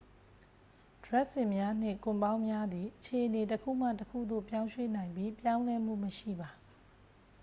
ဒြပ်စင်များနှင့် ကွန်ပေါင်းများသည် အခြေအနေတစ်ခုမှတစ်ခုသို့ ပြောင်းရွှေ့နိုင်ပြီး ပြောင်းလဲမှုမရှိပါ